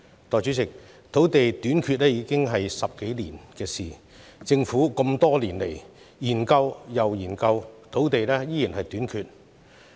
代理主席，土地短缺已經十數年，政府多年來研究又研究，土地依然短缺。